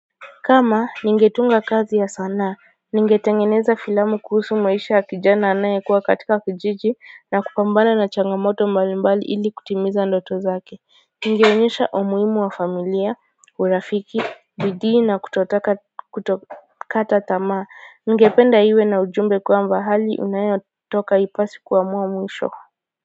Kama ningetunga kazi ya sanaa ningetengeneza filamu kuhusu maisha ya kijana anayekuwa katika kijiji na kupambana na changamoto mbalimbali ili kutimiza ndoto zake. Ningeonyesha umuhimu wa familia urafiki bidii na kutokata tamaa ningependa iwe na ujumbe kwamba hali unayotoka haipasi kuamua mwisho.